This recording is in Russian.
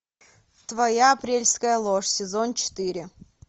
твоя апрельская ложь сезон четыре